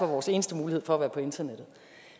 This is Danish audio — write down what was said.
vores eneste mulighed for at være på internettet